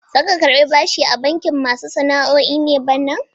Za ka karɓi bashi a bankin masu sana'o'i ne bana?